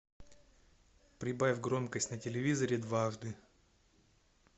прибавь громкость на телевизоре дважды